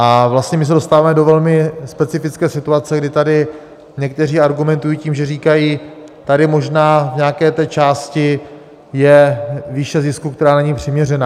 A vlastně my se dostáváme do velmi specifické situace, kdy tady někteří argumentují tím, že říkají: Tady možná v nějaké té části je výše zisku, která není přiměřená.